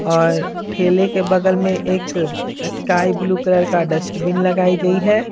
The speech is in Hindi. और ठेले के बगल में एक स्काई ब्लू कलर का डस्टबिन लगाई गई है।